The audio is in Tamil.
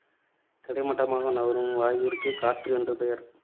கிடைமட்டமாக நகரும் வாயுவிற்கு காற்று என்று பெயர்.